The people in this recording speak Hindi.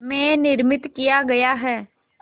में निर्मित किया गया है